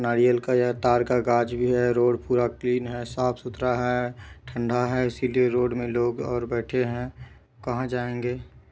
नारियल का यह ताड़ का गाछ भी है रोड पूरा क्लीन है साफ-सुथरा है ठंडा है इसीलिए रोड मे लोग और बैठे है कहाँ जाएंगे।